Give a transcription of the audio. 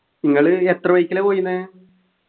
നിങ്ങൾ എത്ര bike ലാ പോയിന്നെ